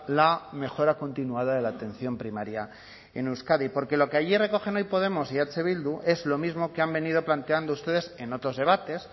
la mejora continuada de la atención primaria en euskadi porque lo que allí recogen hoy podemos y eh bildu es lo mismo que han venido planteando ustedes en otros debates